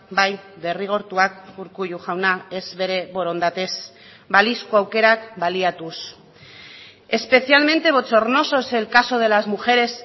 bai derrigortuak urkullu jauna ez bere borondatez balizko aukerak baliatuz especialmente bochornoso es el caso de las mujeres